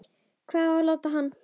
Hvar á að láta hann?